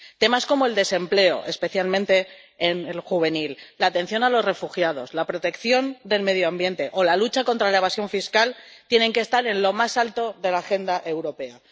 Temas como el desempleo, especialmente el juvenil, la atención a los refugiados, la protección del medio ambiente o la lucha contra la evasión fiscal tienen que estar en lo más alto de la agenda europea.